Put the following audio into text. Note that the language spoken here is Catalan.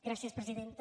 gràcies presidenta